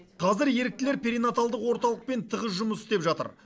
қазір еріктілер перинаталдық орталықпен тығыз жұмыс істеп жатыр